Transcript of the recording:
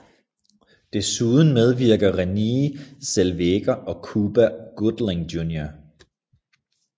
Desuden medvirker Renée Zellweger og Cuba Gooding Jr